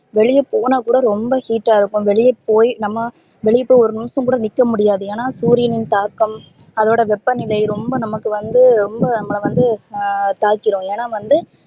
வெளிய போனா கூட ரொம்ப heat டா இருக்கும் வெளிய போய் நம்ப வெளிய போய் ஒரு நிமிஷம் கூட நிக்க முடியாது ஏனா சூரியன் தாக்கம் அதோட வெப்பநிலை ரொம்ப நமக்கு வந்து ரொம்ப நம்பல வந்து ஹம் தாக்கிரும் ஏனா வந்து